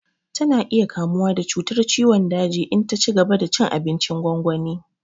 Tana iya kamuwa da cutar ciwon daji in ta cigaba da cin abincin gwangwani